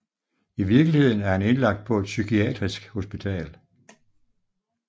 I virkeligheden er han indlagt på et psykiatrisk hospital